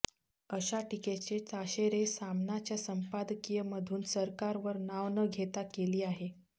अशा टिकेचे ताशेरे सामनाच्या संपादकीयमधून सरकारवर नाव न घेता केली आहे